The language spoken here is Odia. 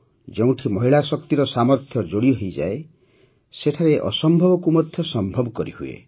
ଯେଉଁଠି ମହିଳା ଶକ୍ତିର ସାମର୍ଥ୍ୟ ଯୋଡ଼ି ହୋଇଯାଏ ସେଠାରେ ଅସମ୍ଭବକୁ ମଧ୍ୟ ସମ୍ଭବ କରିହୁଏ